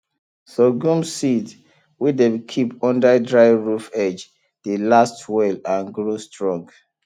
sorghum seed wey dem keep under dry roof edge dey last well and grow strong